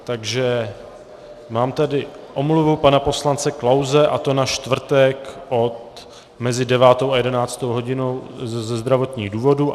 Takže mám tady omluvu pana poslance Klause, a to na čtvrtek mezi 9. a 11. hodinou ze zdravotních důvodů.